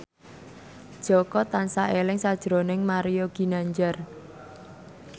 Jaka tansah eling sakjroning Mario Ginanjar